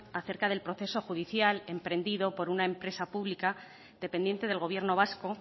acerca del proceso judicial emprendido por una empresa pública dependiente del gobierno vasco